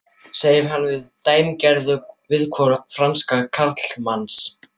segir hann með dæmigerðu viðhorfi fransks karlmanns.